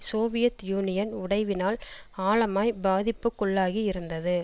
Soviet Union உடைவினால் ஆழமாய் பாதிப்புக்குள்ளாகி இருந்தது